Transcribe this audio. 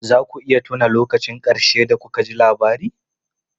Za ku iya tuna lokacin ƙarshe da kuka ji labari?